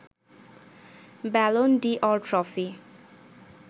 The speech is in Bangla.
Ballon d'Or trophy